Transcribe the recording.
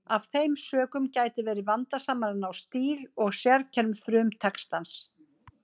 Af þeim sökum gæti verið vandasamara að ná stíl og sérkennum frumtextans.